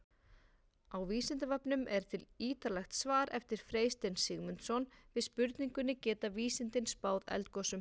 Á Vísindavefnum er til ýtarlegt svar eftir Freystein Sigmundsson við spurningunni Geta vísindin spáð eldgosum?